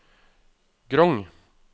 Grong